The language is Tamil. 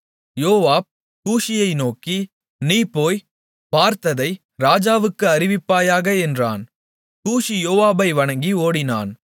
யோவாப் கூஷியை நோக்கி நீ போய் பார்த்ததை ராஜாவுக்கு அறிவிப்பாயாக என்றான் கூஷி யோவாபை வணங்கி ஓடினான்